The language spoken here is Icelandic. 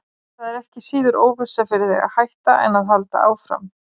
Það er ekki síður óvissa fyrir þig að hætta en að halda áfram.